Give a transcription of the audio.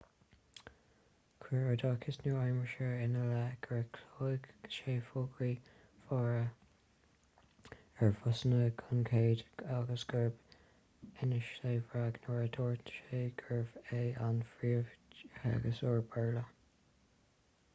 chuir oideachas nua-aimseartha ina leith gur chlóigh sé fógraí móra ar bhusanna gan chead agus gur inis sé bréag nuair a dúirt sé gurbh é an príomhtheagascóir béarla